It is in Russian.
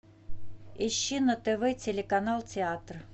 ищи на тв телеканал театр